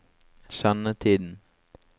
sendetiden